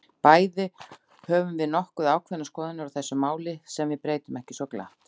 Bæði höfum við nokkuð ákveðnar skoðanir á þessu máli, sem við breytum ekki svo glatt.